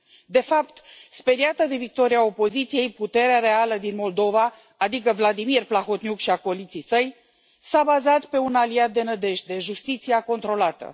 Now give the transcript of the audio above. De fapt, speriată de victoria opoziției, puterea reală din Moldova, adică Vladimir Plahotniuc și acoliții săi, s a bazat pe un aliat de nădejde justiția controlată.